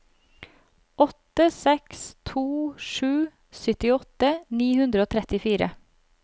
åtte seks to sju syttiåtte ni hundre og trettifire